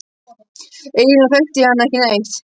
Eiginlega þekkti ég hann ekki neitt.